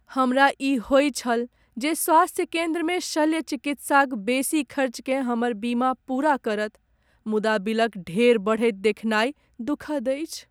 हमरा ई होइ छल जे स्वास्थ्य केंद्रमे शल्य चिकित्साक बेसी खर्चकेँ हमर बीमा पूरा करत। मुदा बिलक ढेर बढ़ैत देखनाइ दुखद अछि।